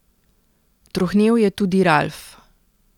Trohnel je tudi Ralf.